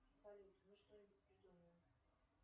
салют мы что нибудь придумаем